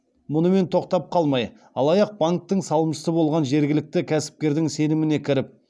мұнымен тоқтап қалмай алаяқ банктің салымшысы болған жергілікті кәсіпкердің сеніміне кіріп